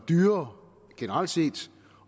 dyrere generelt set